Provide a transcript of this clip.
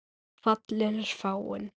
Fallinn er frá.